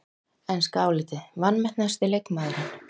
Enska álitið: Vanmetnasti leikmaðurinn?